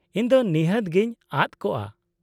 -ᱤᱧ ᱫᱚ ᱱᱤᱦᱟᱹᱛ ᱜᱮᱧ ᱟᱫᱽ ᱠᱚᱜᱼᱟ ᱾